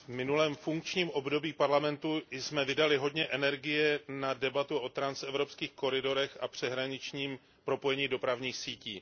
V minulém funkčním období Parlamentu jsme vydali hodně energie na debatu o transevropských koridorech a přeshraničním propojení dopravních sítí.